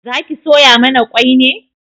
Zaki soya mana kwai ne?